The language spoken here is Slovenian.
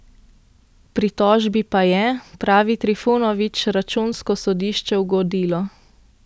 Pritožbi pa je, pravi Trifunovič, računsko sodišče ugodilo.